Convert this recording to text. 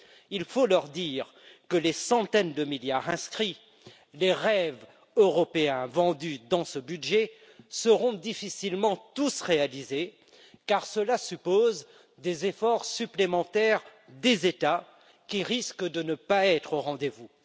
Il faut leur dire que les centaines de milliards inscrits, les rêves européens vendus dans ce budget seront difficilement tous réalisés, car cela suppose des efforts supplémentaires des États, qui risquent de ne pas être au rendez vous.